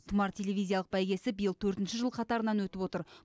тұмар телевизиялық бәйгесі биыл төртінші жыл қатарынан өтіп отыр